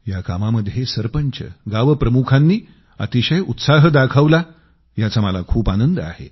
या कामामध्ये सरपंच गाव प्रमुखांनी अतिशय उत्साह दाखवला याचा मला खूप आनंद आहे